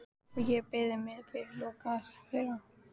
Og ég beygi mig fyrir loga þeirra.